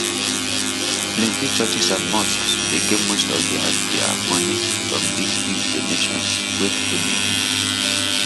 plenty churches and mosques dey get most of dia dia money from big big donations wey people dey give